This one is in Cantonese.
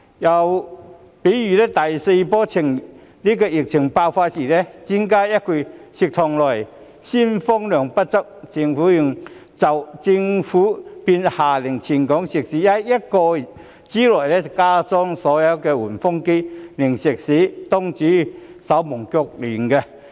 又例如第四波疫情爆發的時候，專家說一句食肆內鮮風量不足，政府便下令全港食肆在1個多月之內加裝所有換風機，令食肆東主手忙腳亂。